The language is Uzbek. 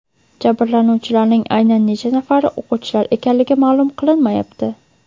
Jabrlanuvchilarning aynan necha nafari o‘quvchilar ekanligi ma’lum qilinmayapti.